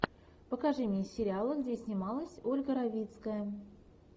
покажи мне сериалы где снималась ольга равицкая